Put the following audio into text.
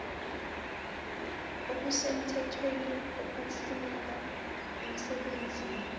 okusemthethweni okufuneka emsebenzini